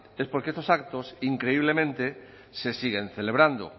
es porque estos actos increíblemente se siguen celebrando